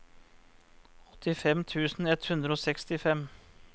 åttifem tusen ett hundre og sekstifem